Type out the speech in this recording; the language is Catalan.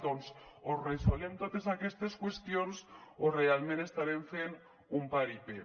doncs o resolem totes aquestes qüestions o realment estarem fent un paripé